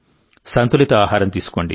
సంతులిత ఆహారం తీసుకోండి